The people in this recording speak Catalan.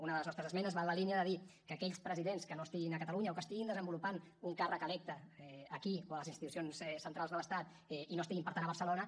una de les nostres esmenes va en la línia de dir que aquells presidents que no estiguin a catalunya o que estiguin desenvolupant un càrrec electe aquí o a les institucions centrals de l’estat i no estiguin per tant a barcelona